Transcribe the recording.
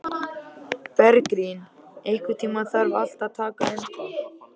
Bergrín, einhvern tímann þarf allt að taka enda.